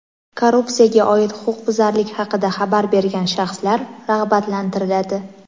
Korrupsiyaga oid huquqbuzarlik haqida xabar bergan shaxslar rag‘batlantiriladi.